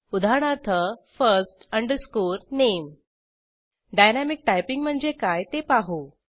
उदाहरणार्थ first name dynamic typing म्हणजे काय ते पाहू